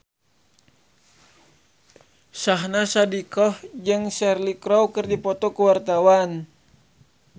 Syahnaz Sadiqah jeung Cheryl Crow keur dipoto ku wartawan